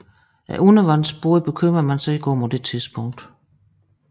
Undervandsbåde bekymrede man sig ikke om på det tidspunkt